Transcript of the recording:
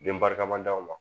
Denbarikama d'anw ma